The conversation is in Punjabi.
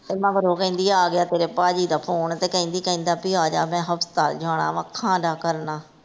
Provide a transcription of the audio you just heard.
ਮਗਰੋਂ ਕਹਿੰਦੀ ਆਗਿਆ ਤੇਰੇ ਪਾਜੀ ਦਾ ਫੋਨ ਤੇ ਕਹਿੰਦੀ ਕਹਿੰਦਾ ਭੀ ਆਜਾ ਮੈਂ ਹਸਪਤਾਲ ਜਾਣਾ ਵਾ ਅੱਖਾਂ ਦਾ ਕਰਨਾ।